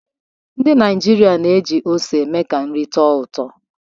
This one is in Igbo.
Ndị Naịjịrịa na-eji ose eme ka nri tọọ ụtọ.